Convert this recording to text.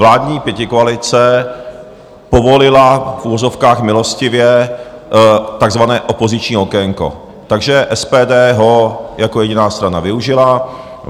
Vládní pětikoalice povolila v uvozovkách milostivě takzvané opoziční okénko, takže SPD ho jako jediná strana využila.